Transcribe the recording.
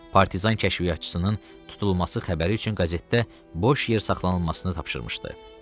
Partisan kəşfiyyatçısının tutulması xəbəri üçün qəzetdə boş yer saxlanılmasını tapşırmışdı.